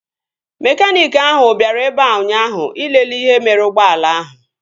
Mekaniiki ahụ bịara ebea ụnyaahụ ịlele ihe mere ụgbọala ahụ